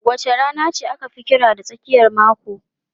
Wace rana aka fi kira da tsakiyar mako?